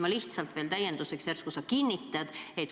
Ma lihtsalt küsin täienduseks, järsku sa kinnitad seda.